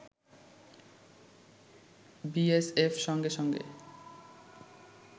BSF সঙ্গে সঙ্গে